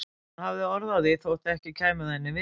Hún hafði orð á því þótt ekki kæmi það henni við.